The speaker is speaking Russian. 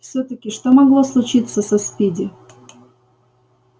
всё-таки что могло случиться со спиди